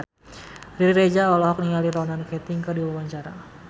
Riri Reza olohok ningali Ronan Keating keur diwawancara